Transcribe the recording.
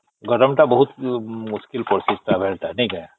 ଗରମ ଟା ବହୁତ ମୁସ୍କିଲ କରୁଛି travel ଟା ନାଇଁ କି